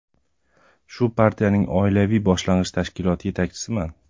Shu partiyaning oilaviy boshlang‘ich tashkiloti yetakchisiman.